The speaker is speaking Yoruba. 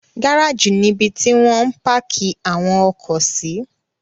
Gárájì nibi ti wọ́n ń páákì àwọn ọkọ̀ sí.